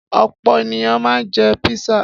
Ọ̀pọ̀ ènìyàn máa ń jẹ písà.